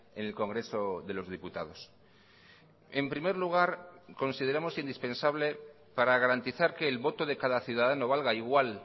en el congreso de los diputados en primer lugar consideramos indispensable para garantizar que el voto de cada ciudadano valga igual